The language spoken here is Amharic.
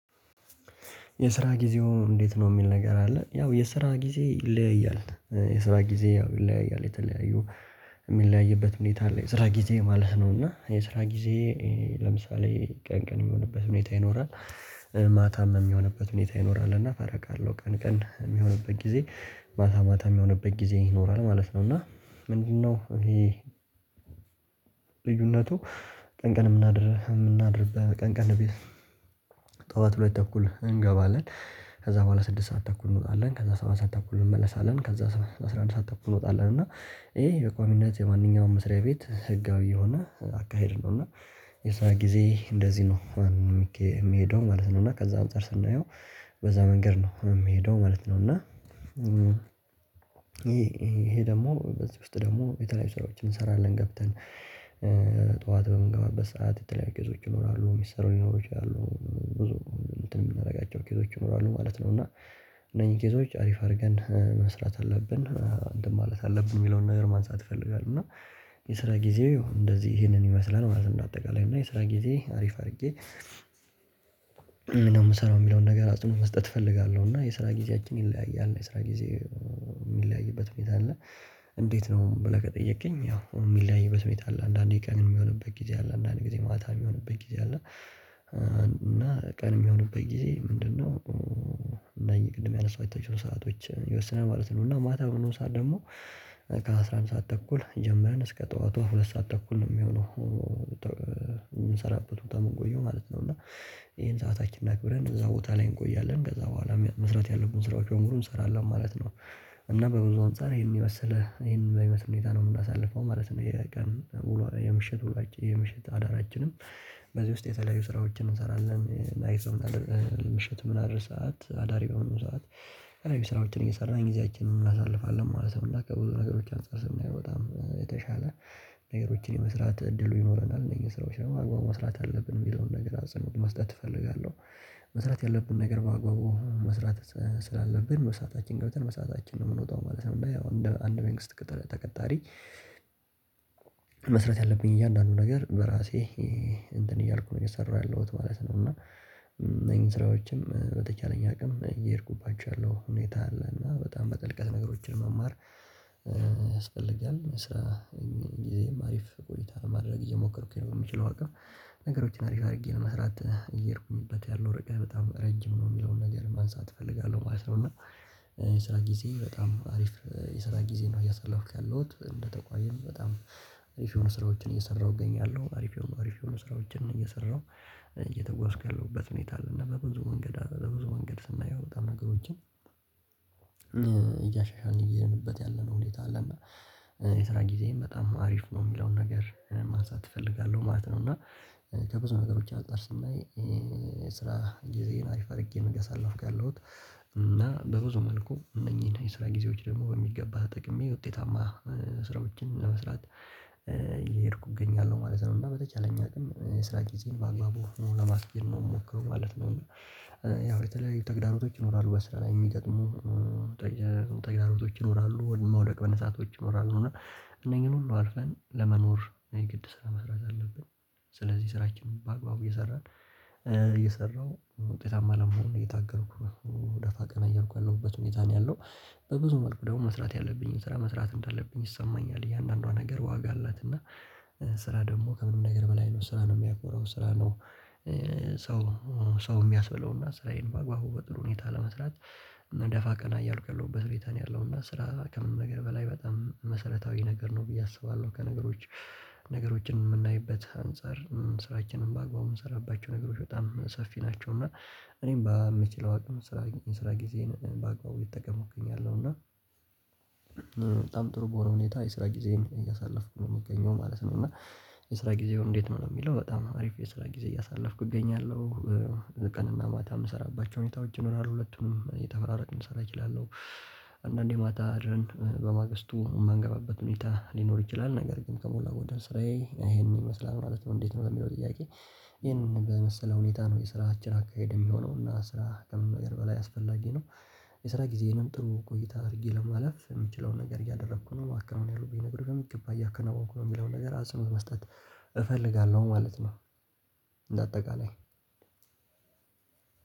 የስራ ጊዜው እንዴት ነው የሚል ነገር አለ ያው የስራ ጊዜ ይለያያል የስራ ጊዜ ያው ይለያያል የተለያዩ የሚለያይበት ሁኔታ አለ። የስራ ጊዜ ማለት ነው። እና የስራ ጊዜ። ለምሳሌ ቀን ቀን የሚሆንበት ሁኔታ ይኖራል። ማታም የሚሆንበት ሁኔታ ይኖራል እና ፈረቃ አለው ቀን ቀን የሚሆንበት ጊዜ ማታ ማታ የሚሆንበት ጊዜ ይኖራል ማለት ነው። እና ምንድነው ይሄ ልዩነቱ? ቀን ቀን የምናድር የምናድር ቀን ቀን ቤት። ጠዋት ሁለት ተኩል እንገባለን። ከዛ በኋላ ስድስት ሰዓት ተኩል እንወጣለን ከዛ ሰባት ሰዓት ተኩል እንመለሳለን ከዛ አስራ አንድ ሰዓት ተኩል እንወጣለን እና ይሄ በቋሚነት የማንኛውም መስሪያ ቤት ህጋዊ የሆነ አካሄድ ነው። እና የስራ ጊዜ እንደዚህ ነው የሚሄደው ማለት ነው። እና ከዛ አንፃር ስናየው በዛ መንገድ ነው የምሄደው ማለት ነው። እና ይሄ ይሄ ደግሞ በዚህ ውስጥ ደግሞ የተለያዩ ስራዎችን እንሰራለን ገብተን። ጠዋት በምንገባበት ሰዓት የተለያዩ ኬዞች ይኖራሉ የሚሰሩ ሊኖሩ ይችላሉ ብዙ እንትን የምናደርጋቸው ኬዞች ይኖራሉ ማለት ነው። እና እነኚህ ኬዞች አሪፍ አድርገን መስራት አለብን እንትን ማለት አለብን የሚለውን ነገር ማንሳት እፈልጋለሁ። እና የስራ ጊዜ እንደዚህ ይሄንን ይመስለናል ማለት ነው። እንደ አጠቃላይ እና የስራ ጊዜ አሪፍ አድርጌ። እና የምሰራው የሚለውን ነገር አጽኖት መስጠት እፈልጋለሁ እና የስራ ጊዜያችን ይለያያል የስራ ጊዜ የሚለያይበት ሁኔታ አለ። እንዴት ነው ብለህ ከጠየቅከኝ? ያው የሚለያይበት ሁኔታ አለ አንዳንዴ ቀን የሚሆንበት ጊዜ አለ አንዳንዴ ጊዜ ማታ የሚሆንበት ጊዜ አለ። እና ቀን የሚሆንበት ጊዜ ምንድነው? እናኝ ቅድም ያነሳኋቸው ሰአቶችን ይወስናል ማለት ነው። እና ማታ ሆኖ ሰዓት ደግሞ ከ አስራ አንድ ሰዓት ተኩል ጀምረን እስከ ጠዋቱ ሁለት ሰዓት ተኩል የሚሆነው። የምንሰራበት ቦታ የምንቆየው ማለት ነው እና ይሄን ሰዓታችን አክብረን እዛ ቦታ ላይ እንቆያለን ከዛ በኋላ መስራት ያለብን ስራዎች በሙሉ እንሰራለን ማለት ነው። እና በብዙ አንፃር ይሄንን የመሰለ ይሄንን በሚመስል ሁኔታ ነው የምናሳልፈው ማለት ነው። የቀን የምሽት የምሽት አዳራችንም በዚህ ውስጥ የተለያዩ ስራዎችን እንሰራለን። ምሽት ምናድር ሰዓት አዳሪ በሆንን ሰዓት ስራዎችን እየሰራን ጊዜያችንን እናሳልፋለን ማለት ነው። እና ከብዙ ነገሮች አንፃር ስናየው በጣም የተሻለ ነገሮችን የመስራት እድሉ ይኖረናል እነኚህ ስራዎች ደግሞ በአግባቡ መስራት አለብን የሚለውን ነገር አጽእኖት መስጠት እፈልጋለሁ። መስራት ያለብን ነገር በአግባቡ መስራት ስላለብን በሰአታችን ገብተን በሰአታችን ነው የምንወጣው ማለት ነው። ያው እንደ አንድ መንግስት ተቀጣሪ። መስራት ያለብኝ እያንዳንዱ ነገር በራሴ እንትን እያልኩ ነው የሰራሁ ያለሁት ማለት ነው። እና እነኚህ ስራዎችን በተቻለኝ አቅም እየሄድኩባቸው ያለው ሁኔታ አለ። እና በጣም በጥልቀት ነገሮችን መማር ያስፈልጋል። መስራ እኔም ጊዜም አሪፍ ቆይታ ማድረግ እየሞከርኩኝ ነው። በምችለው አቅም ነገሮችን አሪፍ አድርጌ ለመስራት እየሄድኩበት ያለው ርቀት በጣም ረጅም ነው የሚለውን ነገር ማንሳት እፈልጋለሁ ማለት ነው። እና የስራ ጊዜ በጣም አሪፍ የስራ ጊዜ ነው እያሳለፍኩ ያለሁት እንደተቆየን በጣም አሪፍ የሆኑ ስራዎችን እየሰራሁ እገኛለሁ። አሪፍ የሆኑ አሪፍ የሆኑ ስራዎችን እየሰራሁ እየተጓዝኩ ያለሁበት ሁኔታ አለና በብዙ ወንገድ በብዙ መንገድ ስናየው በጣም ነገሮችን እያሻሻልን እየሄድንበት ያለነው ሁኔታ አለ። እና የስራ ጊዜም በጣም አሪፍ ነው የሚለውን ነገር ማንሳት እፈልጋለሁ ማለት ነው። እና ከብዙ ነገሮች አጻር ስናይ ስራ ጊዜዬን አሪፍ አድርጌ ነው እያሳለፍኩ ያለሁት። እና በብዙ መልኩ እነኚህን የስራ ጊዜዎች ደግሞ በሚገባ ተጠቅሜ ውጤታማ ስራዎችን ለመስራት እየሄድኩ እገኛለሁ ማለት ነው። እና በተቻለኝ አቅም ስራ ጊዜን በአግባቡ ሆኖ ለማስኬድ ነው የምሞክረው ማለት ነው። ያው በተለይ ተግዳሮቶች ይኖራሉ በስራ ላይ የሚገጥሙ ተግራሮቶች ይኖራሉ መውደቅ በነሳቶች ይኖራሉ እና እነኚህን ሁሉ አልፈን ለመኖር የግድ ስራ መስራት አለብን። ስለዚህ ስራችንን በአግባቡ እየሰራን እየሰራሁ ውጤታማ ለመሆን እየታገልኩ ደፋ ቀና እያልኩ ያለሁበት ሁኔታ ነው ያለው። በብዙ መልኩ ደግሞ መስራት ያለብኝን ስራ መስራት እንዳለብኝ ይሰማኛል እያንዳንዷ ነገር ዋጋ አላት። እና ስራ ደግሞ ከምንም ነገር በላይ ነው ስራ ነው የሚያኮራው ስራ ነው። ሰው ሰው የሚያስበለውና ስራዬን በአግባቡ በጥሩ ሁኔታ ለመስራት። እና ደፋ ቀና እያልኩ ያለሁበት ሁኔታ ነው ያለው። እና ስራ ከምንም ነገር በላይ በጣም መሰረታዊ ነገር ነው ብዬ አስባለሁ። ከነገሮች ነገሮችን የምናይበት አንፃር ስራችንን በአግባቡ የምንሰራባቸው ነገሮች በጣም ሰፊ ናቸው። እና እኔም በምችለው አቅም ስራ ስራ ጊዜን በአግባቡ እየተጠቀምኩ እገኛለሁ። እና በጣም ጥሩ በሆነ ሁኔታ የስራ ጊዜየን እያሳለፍኩ ነው የምገኘው ማለት ነው። እና የስራ ጊዜው እንዴት ነው የሚለው በጣም አሪፍ የስራ ጊዜ እያሳለፍኩ እገኛለሁ። ቀንና ማታ የምሰራባቸው ሁኔታዎች ይኖራል ሁለቱንም የተፈራረቅን ልሰራ እችላለሁ። አንዳንዴ ማታ አደረን በማግስቱ የማንገባበት ሁኔታ ሊኖር ይችላል ነገር ግን ከሞላ ጎደል ስራዬ ይሄንን ይመስላል ማለት ነው። እንዴት ነው የሚለው ጥያቄ? ይሄን በመሰለ ሁኔታ ነው የስራችን አካሄድ የሚሆነው እና ስራ ከምንም ነገር በላይ አስፈላጊ ነው። የስራ ጊዜንም ጥሩ ቆይታ አድርጌ ለማለፍ የምችለውን ነገር እያደረኩ ነው ማከናወን ያሉብኝ ነገሮች ደግሞ በሚገባ እያከናወኩ ነው የሚለውን ነገር አጽእኖት መስጠት እፈልጋለሁ ማለት ነው። እንደ አጠቃላይ